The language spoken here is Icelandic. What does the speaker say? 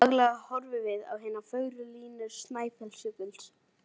Daglega horfum við á hinar fögru línur Snæfellsjökuls